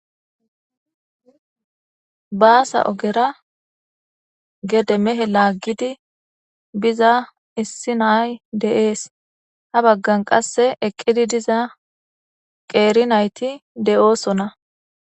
baasa ogera gede mehe laaggidi biza issi nay de7ees ha baggan qasse eqqidi diza qeeri nayti de7oosonna